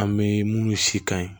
An bɛ munnu si kan ye